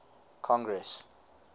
congress